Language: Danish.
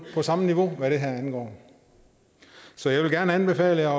på samme niveau hvad det her angår så jeg vil gerne anbefale jer